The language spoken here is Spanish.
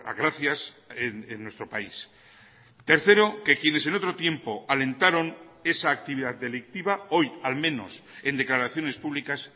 gracias en nuestro país tercero que quienes en otro tiempo alentaron esa actividad delictiva hoy al menos en declaraciones públicas